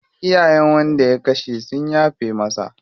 Iyayen wanda ya kashe sun yafe masa.